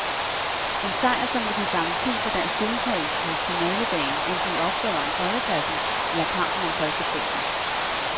En sejr, som vil give garanti for dansk deltagelse på finaledagen, enten i opgøret om tredjepladsen eller kampen om førsteprisen.